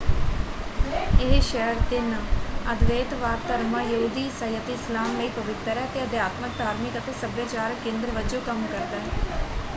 ਇਹ ਸ਼ਹਿਰ ਤਿੰਨ ਅਦਵੈਤਵਾਦ ਧਰਮਾਂ- ਯਹੂਦੀ ਈਸਾਈ ਅਤੇ ਇਸਲਾਮ ਲਈ ਪਵਿੱਤਰ ਹੈ ਅਤੇ ਅਧਿਆਤਮਕ ਧਾਰਮਿਕ ਅਤੇ ਸੱਭਿਆਚਾਰਕ ਕੇਂਦਰ ਵਜੋਂ ਕੰਮ ਕਰਦਾ ਹੈ।